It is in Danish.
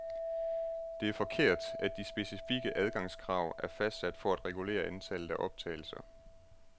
Det er forkert, at de specifikke adgangskrav er fastsat for at regulere antallet af optagelser.